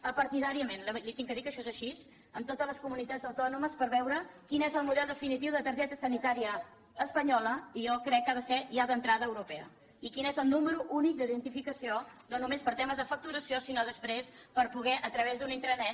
apartidàriament li he de dir que això és així amb totes les comunitats autònomes per veure quin és el model definitiu de targeta sanitària espanyola i jo crec que ha de ser ja d’entrada europea i quin és el número únic d’identificació no només per temes de facturació sinó després per poder a través d’una intranet